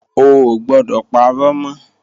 O ò gbọdọ̀ parọ́ mọ́!